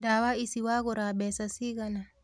Ndawa ici wagura mbeca cigana?